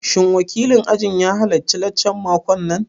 Shin wakilin ajin ya halarci laccan makon nan?